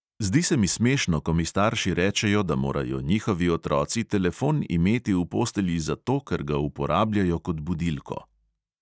Zdi se mi smešno, ko mi starši rečejo, da morajo njihovi otroci telefon imeti v postelji zato, ker ga uporabljajo kot budilko.